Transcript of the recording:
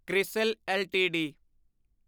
CRISIL LTD